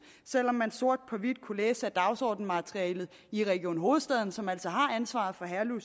selv om man sort på hvidt kunne læse af dagsordensmaterialet i region hovedstaden som altså har ansvaret for herlev